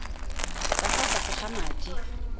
ka fa tlase ga madi